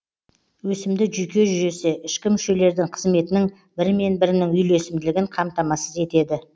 өсімді жүйке жүйесі ішкі мүшелердің қызметінің бірімен бірінің үйлесімділігін қамтамасыз етеді